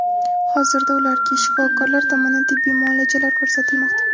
Hozirda ularga shifokorlar tomonidan tibbiy muolajalar ko‘rsatilmoqda.